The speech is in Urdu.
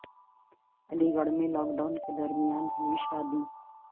علی گڑھ میں لاک ڈاون کے درمیان ہوئی شادی